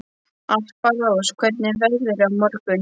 Alparós, hvernig er veðrið á morgun?